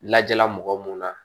Lajala mɔgɔ mun na